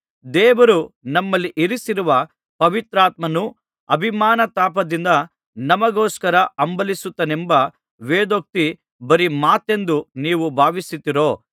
ದೇವರು ನಮ್ಮಲ್ಲಿ ಇರಿಸಿರುವ ಪವಿತ್ರಾತ್ಮನು ಅಭಿಮಾನತಾಪದಿಂದ ನಮಗೋಸ್ಕರ ಹಂಬಲಿಸುತ್ತಾನೆಂಬ ವೇದೋಕ್ತಿ ಬರಿ ಮಾತೆಂದು ನೀವು ಭಾವಿಸುತ್ತೀರೋ